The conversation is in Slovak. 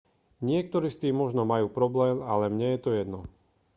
niektorí s tým možno majú problém ale mne je to jedno